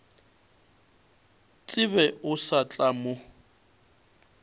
tsebe o sa tla mo